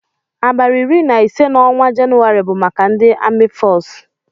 Abali iri na ise na ọnwa jenuwari bu maka ndi ami fọcu.